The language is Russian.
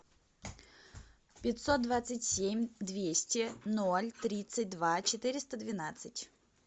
пятьсот двадцать семь двести ноль тридцать два четыреста двенадцать